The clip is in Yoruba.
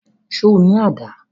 Ṣo ní àdá?